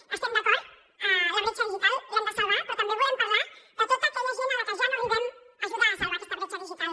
hi estem d’acord la bretxa digital l’hem de salvar però també volem parlar de tota aquella gent a la que ja no arribem a ajudar a salvar aquesta bretxa digital